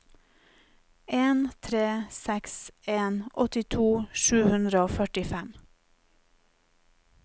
en tre seks en åttito sju hundre og førtifem